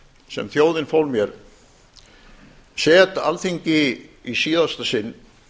sem þjóðin fól mér set alþingi í síðasta sinn